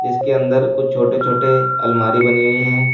इस के अंदर कुछ छोटे छोटे अलमारी बनी हुई हैं।